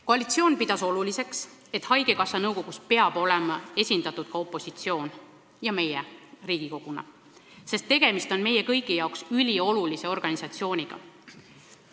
Koalitsioon pidas oluliseks, et haigekassa nõukogus on esindatud Riigikogu ja sh ka opositsioon, sest tegemist on meie kõigi jaoks üliolulise organisatsiooniga.